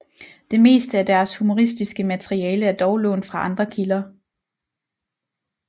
Det meste af deres humoristiske materiale er dog lånt fra andre kilder